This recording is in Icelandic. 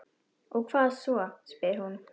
Og hvað svo, spyr hún.